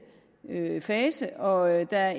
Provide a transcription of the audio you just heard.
fase og der